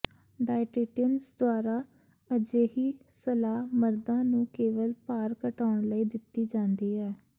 dietitians ਦੁਆਰਾ ਅਜਿਹੀ ਸਲਾਹ ਮਰਦਾਂ ਨੂੰ ਕੇਵਲ ਭਾਰ ਘਟਾਉਣ ਲਈ ਦਿੱਤੀ ਜਾਂਦੀ ਹੈ